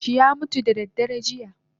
Birinshi yamutu dadaren jiya